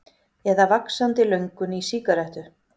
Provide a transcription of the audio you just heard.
Eða vaxandi löngun í sígarettu.